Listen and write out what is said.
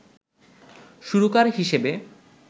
সুরকার হিসেবে